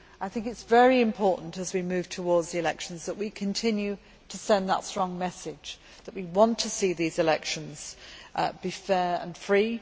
I think it is very important as we move towards the elections that we continue to send that strong message that we want to see these elections be fair and free